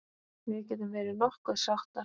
Við getum verið nokkuð sáttar.